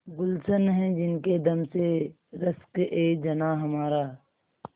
गुल्शन है जिनके दम से रश्कएजनाँ हमारा